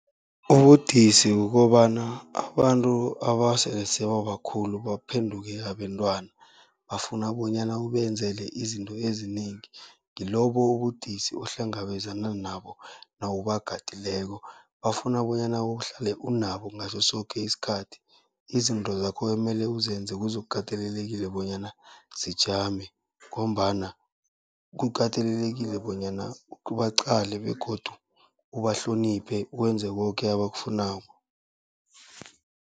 Ubudisi kukobana abantu abasele sebabakhulu baphenduke abentwana, bafuna bonyana ubenzele izinto ezinengi, ngilobo ubudisi ohlangabezana nabo nawubagadileko. Bafuna bonyana uhlale unabo ngaso soke isikhathi, izinto zakho kuyomele uzenze kuzokukatelelekile bonyana zijame, ngombana kukatelelekile bonyana ubaqale begodu ubahloniphe, wenze koke abakufunako.